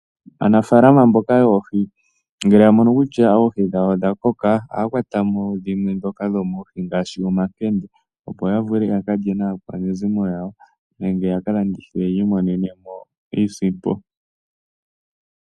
Aanafaalama mboka yoohi ngele ya mono kutya oohi dhawo odha koka, ohaya kwatamo dhimwe ndhoka dhomoohi ngaashi omankende, opo ya vule ya kalye naakwanezimo yawo, nenge yaka landithe yi imonenemo iisimpo.